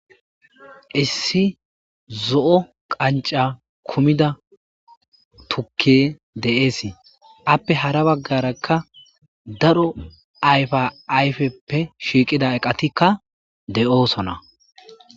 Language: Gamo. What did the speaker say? Issi zo'o qanca kumida turkey de'es, ape hara bagaraka daro ayfa ayfeppw shiiqid eqatika de'osona.